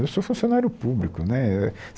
Eu sou funcionário público né.